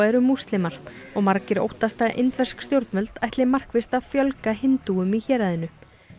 eru múslimar og margir óttast að indversk stjórnvöld ætli markvisst að fjölga hindúum í héraðinu